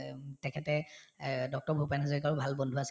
তেখেতে এহ্ Dr. ভূপেন হাজৰিকাৰো ভাল বন্ধু আছিল